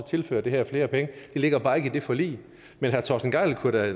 tilføre det her flere penge det ligger bare ikke i det forlig men herre torsten gejl kunne da